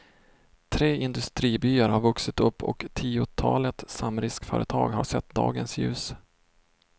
Tre industribyar har vuxit upp och tiotalet samriskföretag har sett dagens ljus.